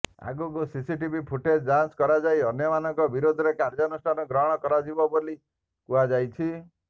ଆଗକୁ CCTV footage ଯାଞ୍ଚ କରାଯାଇ ଅନ୍ୟମାନଙ୍କ ବିରୋଧରେ କାର୍ଯ୍ୟାନୁଷ୍ଠାନ ଗ୍ରହଣ କରାଯିବ ବୋଲି କୁହାଯାଇଛି